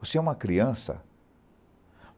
Você é uma criança.